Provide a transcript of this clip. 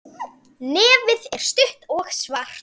Nefið er stutt og svart.